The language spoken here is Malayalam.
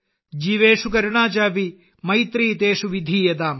ജീവേഷു കരുണാ ചാപി മൈത്രീ തേഷു വിധീയതാം